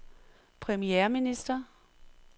premierminister